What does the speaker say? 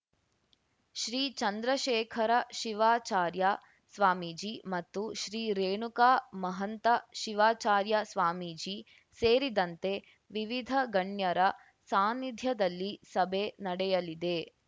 ಶ್ರೀ ಚಂದ್ರಶೇಖರ ಶಿವಾಚಾರ್ಯ ಸ್ವಾಮೀಜಿ ಮತ್ತು ಶ್ರೀ ರೇಣುಕಾ ಮಹಂತ ಶಿವಾಚಾರ್ಯ ಸ್ವಾಮೀಜಿ ಸೇರಿದಂತೆ ವಿವಿಧ ಗಣ್ಯರ ಸಾನ್ನಿಧ್ಯದಲ್ಲಿ ಸಭೆ ನಡೆಯಲಿದೆ